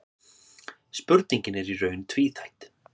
Spurningin er í raun tvíþætt.